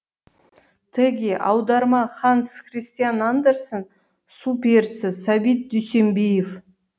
теги аударма ханс христиан андерсен су перісі сәбит дүйсенбиев